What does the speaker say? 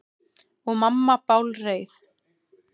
Og mamma bálreið.